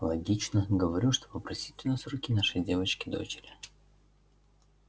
логично говорю что попросить у нас руки нашей девочки дочери